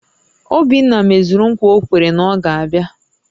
Obinna mezuru ńkwà o kwere na ọ ga-abịa